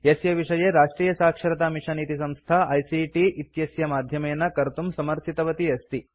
यस्य विषये राष्ट्रियसाक्षरतामिशन् इति संस्था आईसीटी आइसीटि इत्यस्य माध्यमेन कर्तुं समर्थितवती अस्ति